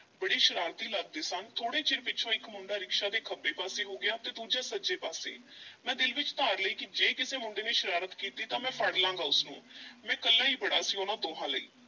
ਬੜੇ ਸ਼ਰਾਰਤੀ ਲੱਗਦੇ ਸਨ, ਥੋੜ੍ਹੇ ਚਿਰ ਪਿੱਛੋਂ ਇੱਕ ਮੁੰਡਾ ਰਿਕਸ਼ਾ ਦੇ ਖੱਬੇ ਪਾਸੇ ਹੋ ਗਿਆ ਤੇ ਦੂਜਾ ਸੱਜੇ ਪਾਸੇ ਮੈਂ ਦਿਲ ਵਿਚ ਧਾਰ ਲਈ ਕਿ ਜੇ ਕਿਸੇ ਮੁੰਡੇ ਨੇ ਸ਼ਰਾਰਤ ਕੀਤੀ ਤਾਂ ਮੈਂ ਫੜ ਲਵਾਂਗਾ ਉਸ ਨੂੰ ਮੈਂ ਇਕੱਲਾ ਈ ਬੜਾ ਸੀ ਉਹਨਾਂ ਦੋਹਾਂ ਲਈ।